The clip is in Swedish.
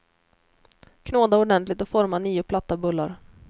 Knåda ordentligt och forma nio platta bullar.